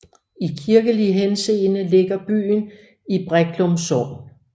I kirkelig henseende ligger byen i Breklum Sogn